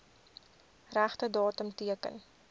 regte datum teken